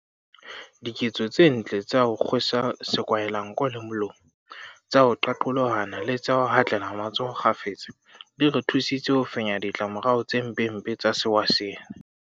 Diketso tse ntle tsa ho kgwe sa sekwahelanko le molomo, tsa ho qaqolohana le tsa ho hatlela matsoho kgafetsa di re thusitse ho fenya ditla morao tse mpempe tsa sewa sena.